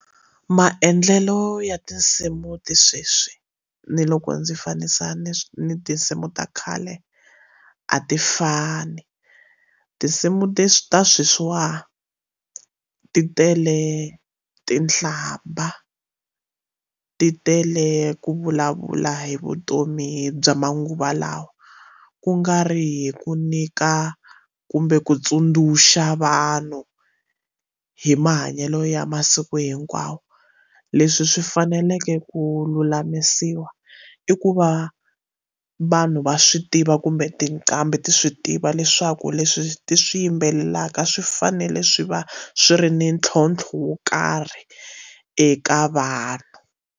Maendlelo ya tinsimu ti sweswi ni loko ndzi fanisa ni ni tinsimu ta khale a ti fani tinsimu ti ta sweswiwa ti tele tinhlamba ti tele ku vulavula hi vutomi bya manguva lawa kungari hi ku nyika kumbe ku tsundzuxa vanhu hi mahanyelo ya masiku hinkwawo leswi swi faneleke ku lulamisiwa i ku va vanhu va swi tiva kumbe tinqambi ti swi tiva leswaku leswi ti swi yimbelelaka swi fanele swi va swi ri ni ntlhontlho wo karhi eka vanhu.